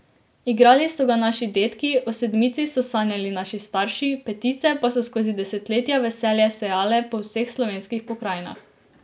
Igrali so ga naši dedki, o Sedmici so sanjali naši starši, Petice pa so skozi desetletja veselje sejale po vseh slovenskih pokrajinah.